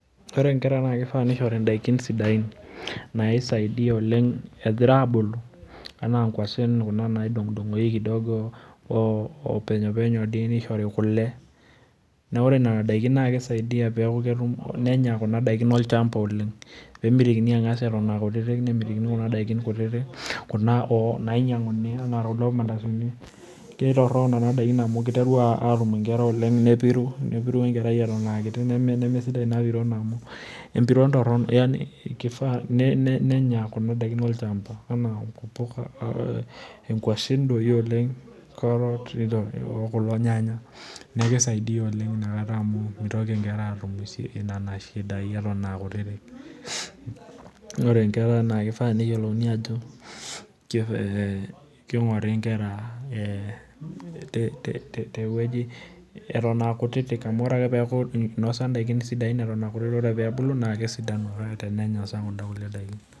Ore nkera naa kifaa nishori ndaiki sidain naisaidia oleng egira abulu anaa nkwashen kuna naidongdongoki kidogo oo openyopenyo dii nishori kule naa ore nena daiki naa kisaidia peeku ketum, nenya kuna daiki olchamba oleng, nemitikini angas era kutitik , nemitikini kuna daiki kuna nainyianguni anaa kulo mandasini, kitorok nena daikin amu kiteru nkera atum oleng, nepiru , nepiru enkerai eton aakiti, nemesidai ina piron amu emipiron torono yani kifaa nenya kuna daikin olchamba anaa mpuka, inkwashen doi oleng, izo kulo nyanya , niaku kisaidia oleng inakata amu mitoki inkera atum inchidai eton aa kutitik. Ore nkera naa kifaa neyiolouni ajo kingori nkera te te tewueji eton aa kutitik amu ore ake peaku inosa ndaikin sidain eton aa kutiti, naa ore ake peebulu naa kesidanu tenenya kunda kulie daiki.